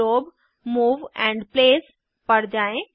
globe move and place पर जाएँ